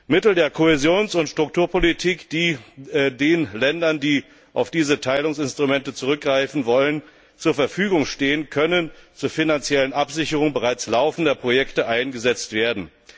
Mittel der Kohäsions und Strukturpolitik, die den Ländern, die auf diese Teilungsinstrumente zurückgreifen wollen, zur Verfügung stehen, können zur finanziellen Absicherung bereits laufender Projekte eingesetzt werden.